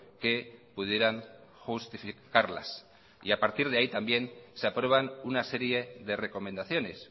que pudieran justificarlas a partir de ahí también se aprueban una serie de recomendaciones